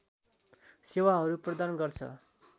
सेवाहरू प्रदान गर्छ